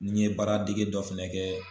Nin ye baara dege dɔ fɛnɛ kɛ.